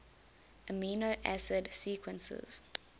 amino acid sequences